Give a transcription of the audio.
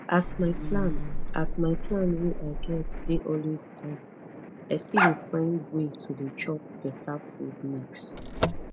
as my plan as my plan wey i get dey always tight i still dey find way to dey chop better food mix